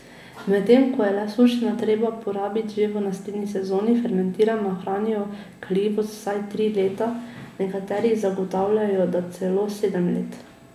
Medtem ko je le sušena treba porabiti že v naslednji sezoni, fermentirana ohranijo kaljivost vsaj tri leta, nekateri zagotavljajo, da celo sedem let.